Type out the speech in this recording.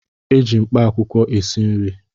Eji mkpaakwụkwọ esi nri